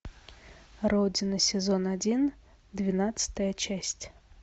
родина сезон один двенадцатая часть